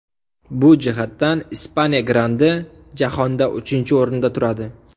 Bu jihatdan Ispaniya grandi jahonda uchinchi o‘rinda turadi.